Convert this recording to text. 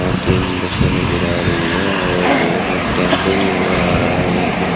अ तीन बसे नजर आ रही है और एक टेंपू भी नजर आ रहा है एक--